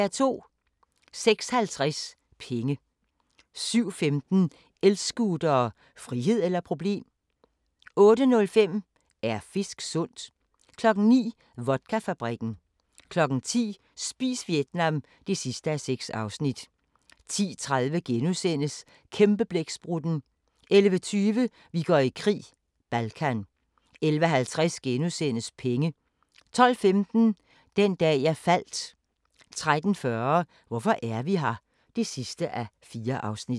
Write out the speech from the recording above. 06:50: Penge 07:15: El-scootere – frihed eller problem? 08:05: Er fisk sundt? 09:00: Vodkafabrikken 10:00: Spis Vietnam (6:6) 10:30: Kæmpeblæksprutten * 11:20: Vi går i krig: Balkan 11:50: Penge * 12:15: Den dag jeg faldt 13:40: Hvorfor er vi her? (4:4)